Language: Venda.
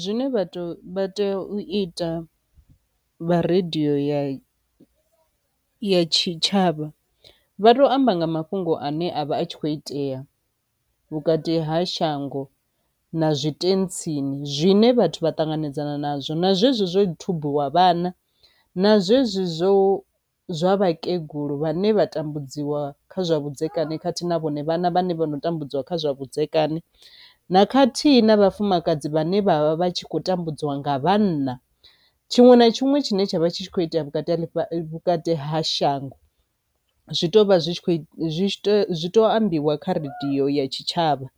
Zwine vhathu vha tea u ita vha radio ya ya tshitshavha vha to amba nga mafhungo ane a vha a tshi kho itea vhukati ha shango na zwitentsini zwine vhathu vha ṱanganedzana nazwo na zwezwo zwo thubiwa vhana na zwezwo zwo zwa vhakegulu vhane vha tambudziwa kha zwa vhudzekani khathihi na vhone vhana vhane vha no tambudziwa kha zwa vhudzekani na khathihi na vhafumakadzi vhane vhavha vha tshi khou tambudziwa nga vhanna. Tshiṅwe na tshiṅwe tshine tsha vha tshi kho itea vhukati ha shango zwi to vha zwi tshi kho ambiwa kha radio ya tshitshavha